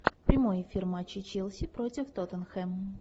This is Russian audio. прямой эфир матча челси против тоттенхэм